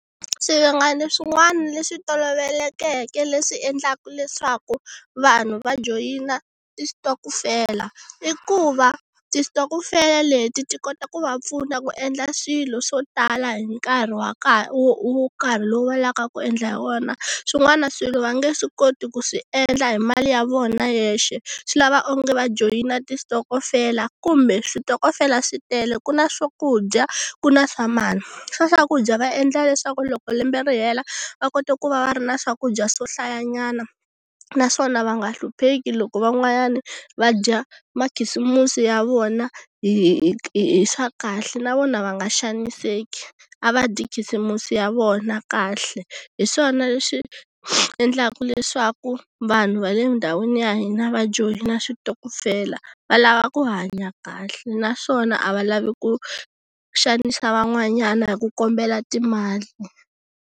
swin'wana leswi tolovelekeke leswi endlaka leswaku vanhu va joyina tisitokofela i ku va tisitokofela leti ti kota ku va pfuna ku endla swilo swo tala hi nkarhi wa wo karhi lowu va lavaka ku endla hi wona swin'wana swilo va nge swi koti ku swi endla hi mali ya vona yexe swi lava onge va joyina tisitokofela kumbe switokofela swi tele ku na swo ku dya, ku na swa mali. Swa swakudya va endla leswaku loko lembe ri hela va kota ku va va ri na swakudya swo hlayanyana naswona va nga hlupheki loko van'wanyani va dya makhisimusi ya vona hi hi hi hi swa kahle na vona va nga xaniseki a va dyi khisimusi ya vona kahle. Hi swona leswi endlaka leswaku vanhu va le ndhawini ya hina va joyina switokofela va lava ku hanya kahle naswona a va lavi ku xanisa van'wanyana hi ku kombela timali.